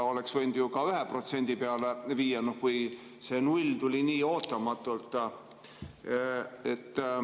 Oleks võinud ju ka 1% peale viia, kui see 0% tuli nii ootamatult.